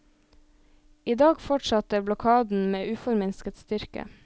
I dag fortsatte blokaden med uforminsket styrke.